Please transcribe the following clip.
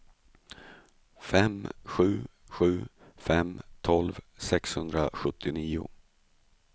fem sju sju fem tolv sexhundrasjuttionio